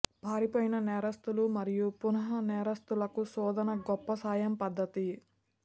పారిపోయిన నేరస్థుల మరియు పునః నేరస్థులకు శోధన గొప్ప సాయం పద్ధతి